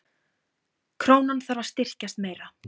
Krónan þarf að styrkjast meira